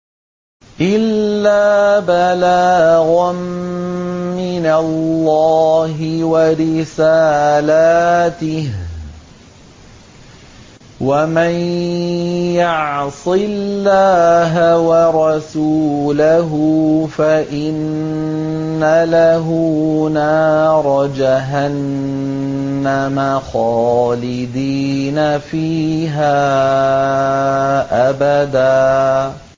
إِلَّا بَلَاغًا مِّنَ اللَّهِ وَرِسَالَاتِهِ ۚ وَمَن يَعْصِ اللَّهَ وَرَسُولَهُ فَإِنَّ لَهُ نَارَ جَهَنَّمَ خَالِدِينَ فِيهَا أَبَدًا